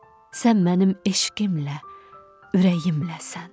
Sən mənim eşqimlə, ürəyimləsən.